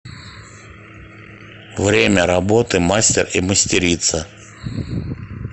время работы мастер и мастерица